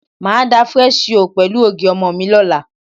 Màá da fresi yóò pẹ̀lú ògì ọmọ mi lọ́la.